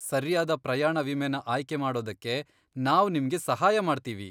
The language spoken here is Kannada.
ಸರ್ಯಾದ ಪ್ರಯಾಣ ವಿಮೆನ ಆಯ್ಕೆ ಮಾಡೋದಕ್ಕೆ ನಾವ್ ನಿಮ್ಗೆ ಸಹಾಯ ಮಾಡ್ತೀವಿ.